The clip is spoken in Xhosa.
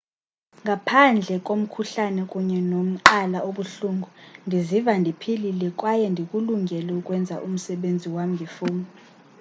ngaphandle komkhuhlane kunye nomqala obuhlungu ndiziva ndiphilile kwaye ndikulungele ukwenza umsebenzi wam ngefowuni